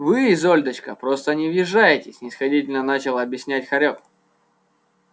вы изольдочка просто не въезжаете снисходительно начал объяснять хорёк